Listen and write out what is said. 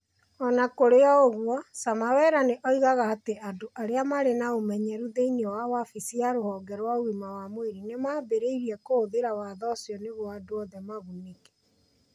O na kũrĩ ũguo, Samaraweera nĩ oigaga atĩ andũ arĩa marĩ na ũmenyeru thĩinĩ wa wabici ya rũhonge rwa ũgima wa mwĩrĩ nĩ maambĩrĩirie kũhũthĩra watho ũcio nĩguo andũ othe magunĩke.